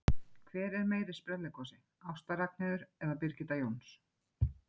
Hver er meiri sprelligosi, Ásta Ragnheiður eða Birgitta Jóns?